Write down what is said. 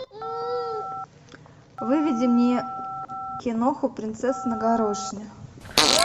выведи мне киноху принцесса на горошине